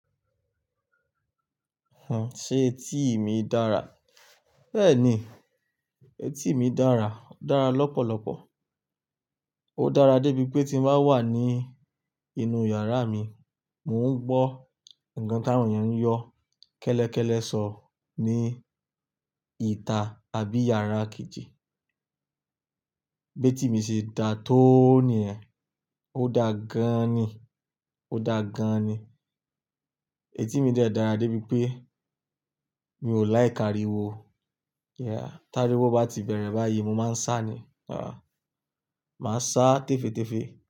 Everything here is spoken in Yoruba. Ṣé etí mi dára? Bẹ́ẹ̀ni, etí mi dára, ó dára lọ́pọ̀lọpọ̀. Ó dára débi pé tí mo bá wà ní inú yàrá mi, mò ń gbọ́ ǹkan táwọn ènìyàn ń yọ kẹ́lẹ́kẹ́lẹ́ sọ ní ìta àbí yàrá kejì. Bé tí mo ṣe dà tó ni yẹ, ó dáa gan ni, ó dáa gan ni. Etí mi dẹ́ dàra débi pé mi ò like áriwo. Yeah, t'áríwó bá ti bẹ̀rẹ̀ báyìí, mo máa ń sá ni. Rárá, màá sá tefetefe.